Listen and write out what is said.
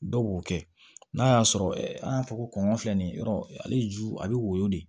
Dɔw b'o kɛ n'a y'a sɔrɔ an y'a fɔ ko kɔnkɔ filɛ nin ye yɔrɔ ale ju a bɛ woyo de